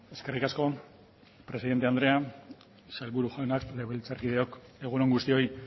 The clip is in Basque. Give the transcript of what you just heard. eskerrik asko presidente andrea sailburu jaunak legebiltzarkideok egun on guztioi